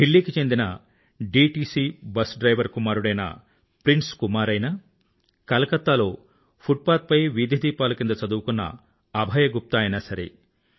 ఢిల్లీకి చెందిన DTC bus driver కుమారుడైన ప్రిన్స్ కుమార్ అయినా కలకత్తాలో ఫుట్పాత్ పై వీధి దీపాల కింద చదువుకున్న అభయ్ గుప్తా అయినా సరే